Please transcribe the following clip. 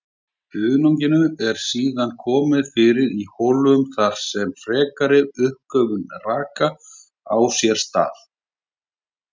Hunanginu eru síðan komið fyrir í hólfum þar sem frekari uppgufun raka á sér stað.